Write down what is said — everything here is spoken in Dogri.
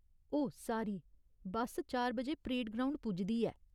ओह् सारी, बस्स चार बजे परेड ग्राउंड पुजदी ऐ।